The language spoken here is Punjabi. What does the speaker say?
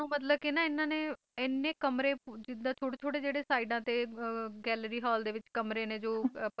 ਤੇ ਲੋਕਾਂ ਨੂੰ ਮਤਲਬ ਕਿ ਇਨ੍ਹਾਂ ਨੇ ਐਨੇ ਕਮਰੇ ਜਿੱਦਾਂ ਥੋੜੇ ਥੋੜੇ ਜਿਹੜੇ ਸਾਇਡਾਂ ਤੇ ਗੈਲਰੀ ਹਾਲ ਦੇ ਵਿਚ